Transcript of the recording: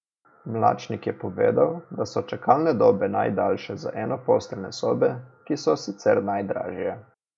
Mlačnik je povedal, da so čakalne dobe najdaljše za enoposteljne sobe, ki so sicer najdražje.